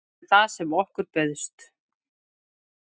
Þetta er það sem okkur bauðst